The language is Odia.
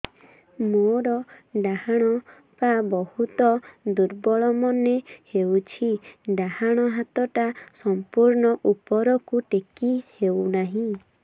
ମୋର ଡାହାଣ ପାଖ ବହୁତ ଦୁର୍ବଳ ମନେ ହେଉଛି ଡାହାଣ ହାତଟା ସମ୍ପୂର୍ଣ ଉପରକୁ ଟେକି ହେଉନାହିଁ